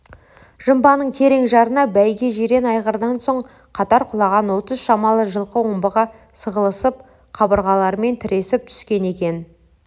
жымбаның терең жарына бәйге жирен айғырдан соң қатар құлаған отыз шамалы жылқы омбыға сығылысып қабырғаларымен тіресіп түскен екен